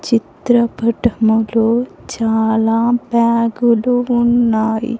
చిత్రపటములో చాలా బ్యాగులు ఉన్నాయి.